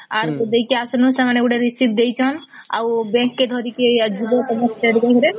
ଆର ଦେଇକି ଆସିଲୁ ସେମାନେ ଗୋଟେ receipt ଦେଇଛନ ଆଉ bank କେ ଧରିକେ ଯିବୁ ତମ state bank